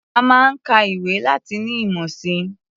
A máa ń ka ìwé láti ní ìmọ̀ si.